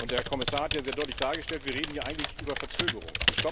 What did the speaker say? Der Kommissar hat sehr deutlich dargestellt Wir reden hier eigentlich über Verzögerung